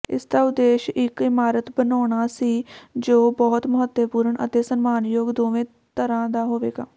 ਇਸਦਾ ਉਦੇਸ਼ ਇੱਕ ਇਮਾਰਤ ਬਣਾਉਣਾ ਸੀ ਜੋ ਬਹੁਤ ਮਹੱਤਵਪੂਰਣ ਅਤੇ ਸਨਮਾਨਯੋਗ ਦੋਵੇਂ ਤਰ੍ਹਾਂ ਦਾ ਹੋਵੇਗਾ